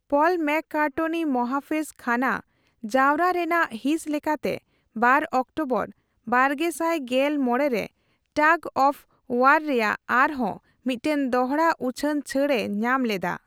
ᱯᱚᱞ McCartney ᱢᱚᱦᱟᱯᱷᱮᱡ ᱠᱷᱟᱱᱟ ᱡᱟᱣᱨᱟ ᱨᱮᱱᱟᱜ ᱦᱤᱸᱥ ᱞᱮᱠᱟᱛᱮ ᱵᱟᱨ ᱚᱠᱴᱳᱵᱚᱨ ᱵᱟᱨᱜᱮᱥᱟᱭ ᱜᱮᱞ ᱢᱚᱲᱮ ᱨᱮ ᱴᱟᱜ ᱚᱯᱷ ᱳᱣᱟᱨ ᱨᱮᱭᱟᱜ ᱟᱨ ᱦᱚᱸ ᱢᱤᱫᱴᱟᱝ ᱫᱚᱦᱚᱲᱟ ᱩᱪᱷᱟᱹᱱ ᱪᱷᱟᱹᱲ ᱮ ᱧᱟᱢ ᱞᱮᱫᱟ ᱾